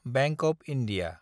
bank of India